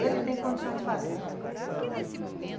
Ele tem condições de fazer.